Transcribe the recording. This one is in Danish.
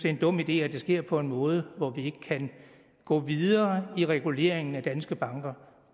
en dum idé at det sker på en måde hvor vi ikke kan gå videre i reguleringen af danske banker